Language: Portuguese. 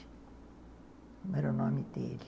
Como era o nome dele?